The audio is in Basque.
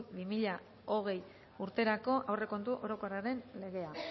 bi mila hogei urterako aurrekontu orokorraren legea